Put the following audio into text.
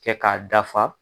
Kɛ k'a dafa.